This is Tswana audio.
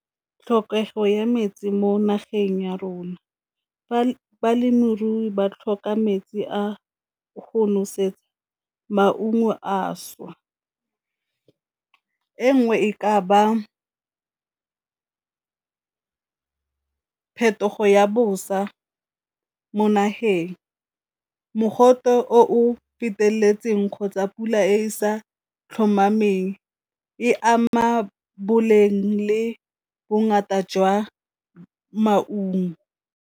Tlhokego ya metsi mo nageng ya rona, balemirui ba tlhoka metsi a go nosetsa maungo a šwa, e nngwe e ka ba phetogo ya bosa mo nageng, mogote o feteletseng kgotsa pula e sa tlhomameng e ama boleng le bongata jwa maungo.